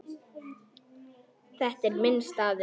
Þetta er minn staður.